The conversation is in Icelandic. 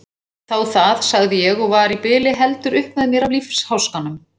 Þá það, sagði ég og var í bili heldur upp með mér af lífsháskanum.